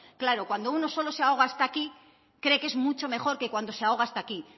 claro cuando uno solo se ahoga hasta aquí cree que es mucho mejor que cuando se ahoga hasta aquí